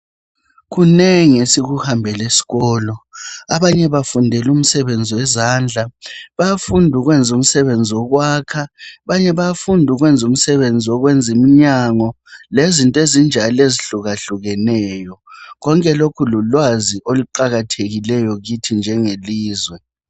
Kunengi esikuhambela esikolo, abanye bafundela umsebenzi wezandla, bayafunda ukwenza umsebenzi wokwakha, abanye bayafunda ukwenza umsebenzi wokwenza imnyango lezinto ezinjalo ezihlukakukeneyo konke lokhu lulwazi oluqakathekileyo kithi njenge lizwe.